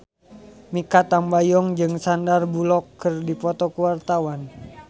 Mikha Tambayong jeung Sandar Bullock keur dipoto ku wartawan